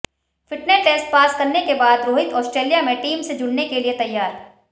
fitness test pass करने के बाद रोहित ऑस्ट्रेलिया में टीम से जुड़ने के लिए तैयार